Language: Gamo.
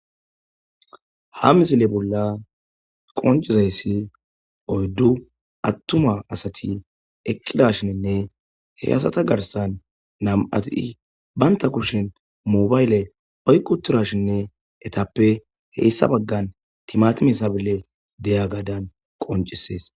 Ha misile bolla qoncizayssi oyddu attuma asati eqqidashinne heyasata garsan nam'ati banta kushin moobayle oyquturashinne etappe heyssa baggan timatime sabile deya gadan qoncisees.